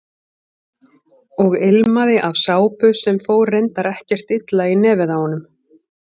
Og ilmaði af sápu sem fór reyndar ekkert illa í nefið á honum.